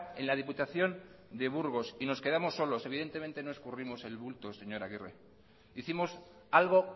en la diputación de burgos y nos quedamos solos evidentemente no escurrimos el bulto señor agirre hicimos algo